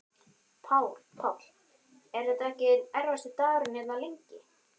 Páll: Er þetta ekki svona einn erfiðasti dagurinn hérna, lengi?